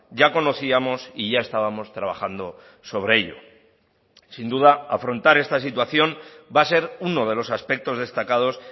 ya conocíamos y ya estábamos trabajando sobre ello sin duda afrontar esta situación va a ser uno de los aspectos destacados